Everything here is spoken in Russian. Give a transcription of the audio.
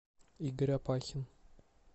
игорь опахин